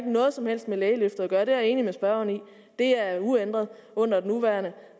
noget som helst med lægeløftet at gøre det er jeg enig med spørgeren i det er uændret under den nuværende